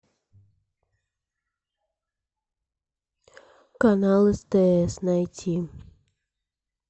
канал стс найти